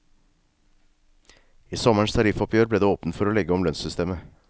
I sommerens tariffoppgjør ble det åpnet for å legge om lønnssystemet.